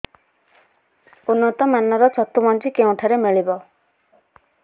ଉନ୍ନତ ମାନର ଛତୁ ମଞ୍ଜି କେଉଁ ଠାରୁ ମିଳିବ